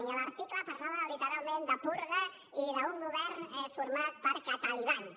i l’article parlava literalment de purga i d’un govern format per catalibans